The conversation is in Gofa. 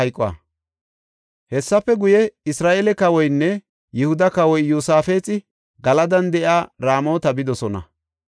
Hessafe guye, Isra7eele kawoynne Yihuda kawoy Iyosaafexi Galadan de7iya Raamota bidosona.